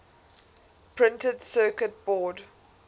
printed circuit board